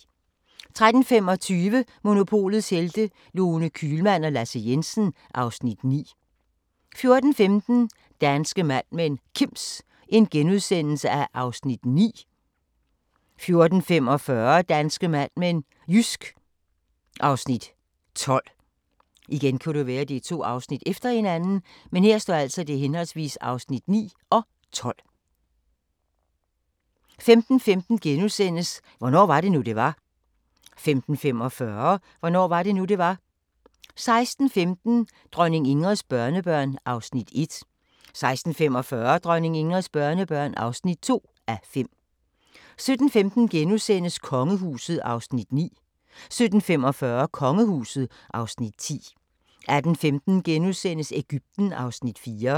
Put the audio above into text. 13:25: Monopolets Helte – Lone Kühlmann og Lasse Jensen (Afs. 9) 14:15: Danske Mad Men: Kims (Afs. 9)* 14:45: Danske Mad Men: Jysk (Afs. 12) 15:15: Hvornår var det nu, det var? * 15:45: Hvornår var det nu, det var? 16:15: Dronning Ingrids børnebørn (1:5) 16:45: Dronning Ingrids børnebørn (2:5) 17:15: Kongehuset (Afs. 9)* 17:45: Kongehuset (Afs. 10) 18:15: Egypten (Afs. 4)*